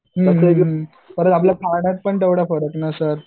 हुं हुं हुं परत आपल्या खाण्यात पण तेवढं